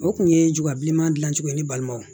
O kun ye juga bileman dilan cogo ye ni balima wo